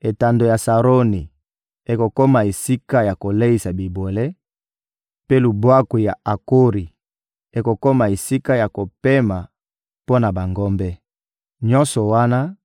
Etando ya Saroni ekokoma esika ya koleisa bibwele, mpe Lubwaku ya Akori ekokoma esika ya kopema mpo na bangombe. Nyonso wana